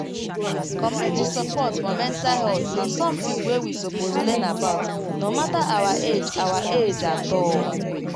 community support for mental health na something wey we suppose learn about no matter our age our age at all